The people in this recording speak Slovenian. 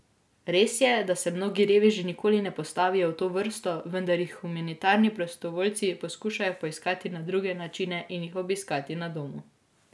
Res je, da se mnogi reveži nikoli ne postavijo v to vrsto, vendar jih humanitarni prostovoljci poskušajo poiskati na druge načine in jih obiskati na domu.